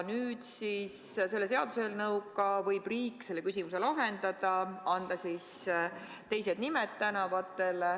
Nüüd, selle seaduseelnõuga võib riik kõnealuse küsimuse lahendada ja anda tänavatele teised nimed.